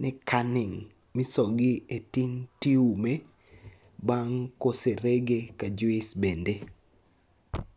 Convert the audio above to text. ni canning misogi e tin to iume bang' koserege ka juis bende.